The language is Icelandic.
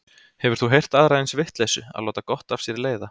Hefur þú heyrt aðra eins vitleysu, að láta gott af sér leiða.